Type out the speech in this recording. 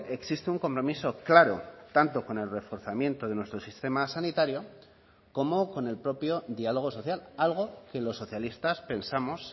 existe un compromiso claro tanto con el reforzamiento de nuestro sistema sanitario como con el propio diálogo social algo que los socialistas pensamos